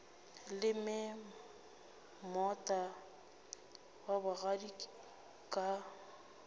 leme moota wa bogadi ka